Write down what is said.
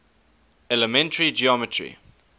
elementary geometry